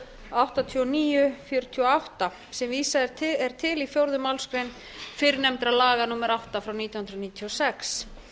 áttatíu og níu fjörutíu og átta sem vísað er til í fjórðu málsgrein fyrrnefnda laga númer átta nítján hundruð níutíu og sex